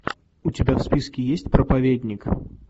у тебя в списке есть проповедник